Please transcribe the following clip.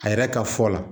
A yɛrɛ ka fɔ la